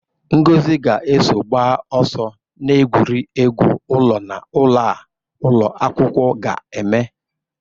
Ngozi ga-eso gbaa ọsọ n'egwuregwu ụlọ na ụlọ a ụlọ akwụkwọ ga-eme.